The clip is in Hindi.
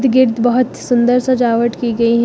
गेट बहोत सुंदर सजावट की गई है।